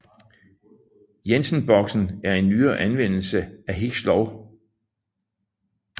Jensen boksen er en nyere anvendelse af Hicks lov